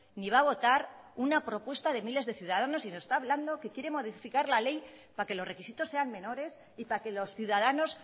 ni va a votar una propuesta de miles de ciudadanos y nos está hablando que quiere modificar la ley para que los requisitos sean menores y para que los ciudadanos